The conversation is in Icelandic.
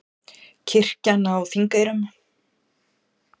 Kirkjan á Þingeyrum.